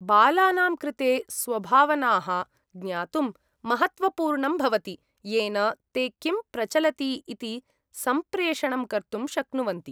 बालानां कृते स्वभावनाः ज्ञातुं महत्त्वपूर्णं भवति, येन ते किं प्रचलति इति सम्प्रेषणं कर्तुं शक्नुवन्ति।